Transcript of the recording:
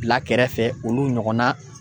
Bila kɛrɛfɛ olu ɲɔgɔnna